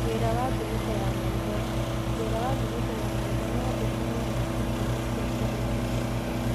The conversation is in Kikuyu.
Wĩra wa ngunĩko ya maitho:wĩra wa ngunĩko ya maitho no ũkorũo na ĩtũmi cĩa kuniaria maitho.